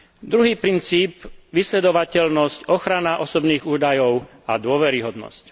Druhý princíp vysledovateľnosť, ochrana osobných údajov a dôveryhodnosť.